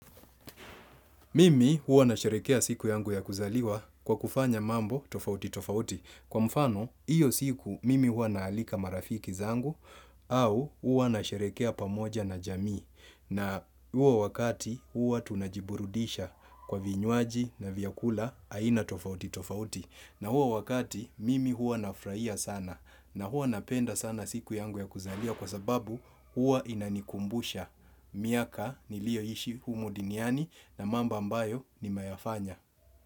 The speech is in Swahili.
Mimi huwa nasherehekea siku yangu ya kuzaliwa kwa kufanya mambo tofauti tofauti, kwa mfano, hiyo siku mimi huwa naalika marafiki zangu au huwa nasherehekea pamoja na jamii, na huo wakati huwa tunajiburudisha kwa vinywaji na vyakula aina tofauti tofauti na huo wakati mimi huwa nafurahia sana na huwa napenda sana siku yangu ya kuzaliwa kwa sababu huwa inanikumbusha miaka niliyoishi humu duniani na mambo ambayo nimeyafanya.